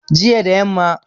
jiya da yamma